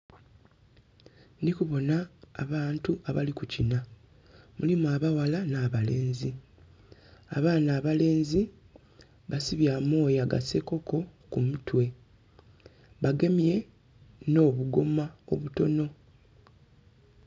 Ndhi kubona abantu abali kukinha, mulimu abaghala n'abalenzi. Abaana abalenzi basibye amooya ga sekoko ku mutwe bagemye n'obugoma obutono.